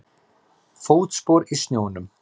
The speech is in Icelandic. Fótspor í snjónum.